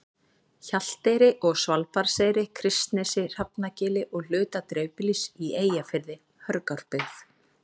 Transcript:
Hjalteyri og Svalbarðseyri, Kristnesi, Hrafnagili og hluta dreifbýlis í Eyjafirði, Hörgárbyggð